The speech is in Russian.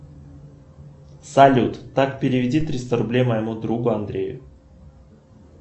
салют так переведи триста рублей моему другу андрею